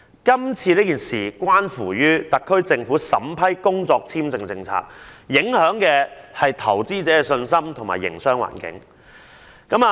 今次事件關乎特區政府審批工作簽證的政策，影響投資者的信心和營商環境。